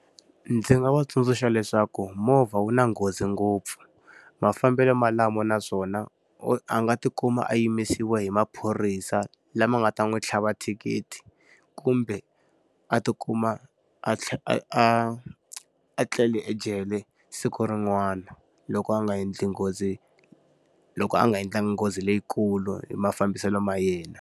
Ndzi nga va tsundzuxa leswaku movha wu na nghozi ngopfu. Mafambelo malamo na swona a nga ti kuma a yimisiwe hi maphorisa lama nga ta n'wi tlhava thikithi kumbe a ti kuma a a a a tlele ejele siku rin'wani, loko a nga endli nghozi loko a nga endlangi nghozi leyikulu hi mafambiselo ma yena.